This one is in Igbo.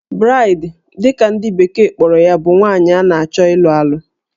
Bride' dị ka ndị bekee kpọrọ ya bụ nwaanyị a na-achọ ịlụ alụ